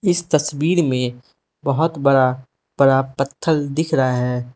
इस तस्वीर में बहोत बड़ा बड़ा पत्थल दिख रहा है।